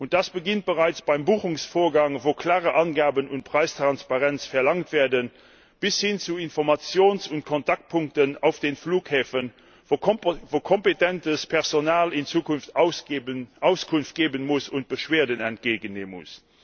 Das beginnt bereits beim Buchungsvorgang, wo klare Angaben und Preistransparenz verlangt werden, bis hin zu Informations und Kontaktpunkten auf den Flughäfen, wo kompetentes Personal in Zukunft Auskunft geben und Beschwerden entgegennehmen muss.